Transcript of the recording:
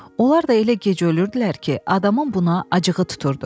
Onlar da elə gec ölürdülər ki, adamın buna acığı tuturdu.